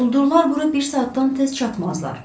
Quldurlar bura bir saatdan tez çatmazlar.